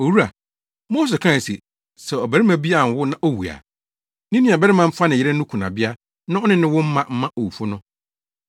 “Owura, Mose kae se, ‘Sɛ ɔbarima bi anwo na owu a, ne nuabarima mfa ne yere no kunabea na ɔne no nwo mma owufo no.